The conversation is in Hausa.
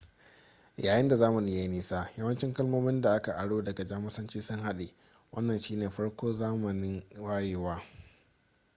yayin da zamani ya yi nisa yawancin kalmomin da aka aro daga jamusanci sun haɗe wannan shi ne farko zamanin wayewa